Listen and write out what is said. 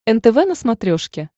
нтв на смотрешке